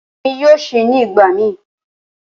Rara, Emi yoo ṣii nigbamii.